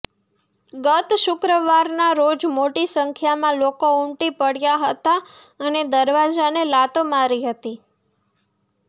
ગત શુક્રવારના રોજ મોટી સંખ્યામાં લોકો ઉમટી પ્ડ્યા હતા અને દરવાજાને લાતો મારી હતી